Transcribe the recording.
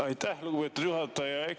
Aitäh, lugupeetud juhataja!